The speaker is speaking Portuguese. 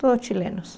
Todos chilenos.